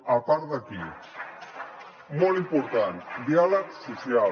a part d’aquí molt important diàleg social